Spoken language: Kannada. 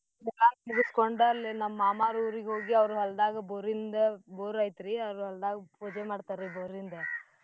ಚನ್ನಾಗ್ ಮುಗ್ಸ್ಕೊಂಡ್ ಅಲ್ಲಿ ನಮ್ ಮಾಮಾರ್ ಊರಿಗೋಗಿ ಅವ್ರ್ ಹೊಲ್ದಾಗ ಬೋರಿಂದ ಬೋರ್ ಐತ್ರೀ ಅವ್ರ್ ಹೊಲ್ದಾಗ್ ಪೂಜೆ ಮಾಡ್ತಾರ್ರೀ ಬೋರಿಂದ್.